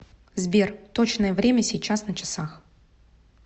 сбер точное время сейчас на часах